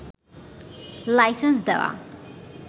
licence দেওয়া